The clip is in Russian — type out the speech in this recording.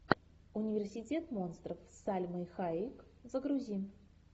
университет монстров с сальмой хайек загрузи